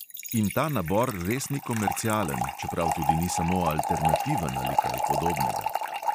In ta nabor res ni komercialen, čeprav tudi ni samo alternativen ali kaj podobnega.